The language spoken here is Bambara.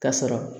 Ka sɔrɔ